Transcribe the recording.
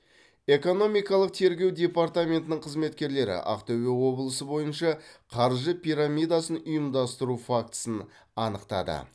экономикалық тергеу департаментінің қызметкерлері ақтөбе облысы бойынша қаржы пирамидасын ұйымдастыру фактісін анықтады